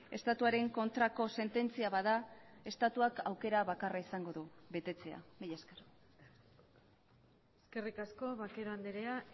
estatuaren kontrako sententzia bada estatuak aukera bakarra izango du betetzea mila esker eskerrik asko vaquero andrea